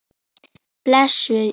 Blessuð sé minning Kalla.